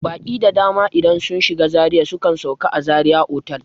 Baƙi da dama idan sun shiga Zaria sukan sauka a zaria otal